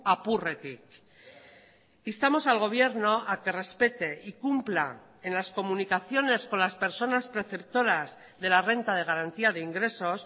apurretik instamos al gobierno a que respete y cumpla en las comunicaciones con las personas preceptoras de la renta de garantía de ingresos